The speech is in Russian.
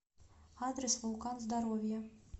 адрес вулкан здоровья